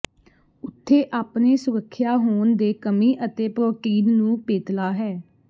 ਉੱਥੇ ਆਪਣੇ ਸੁਰੱਖਿਆ ਹੋਣ ਦੇ ਕਮੀ ਅਤੇ ਪ੍ਰੋਟੀਨ ਨੂੰ ਪੇਤਲਾ ਹੈ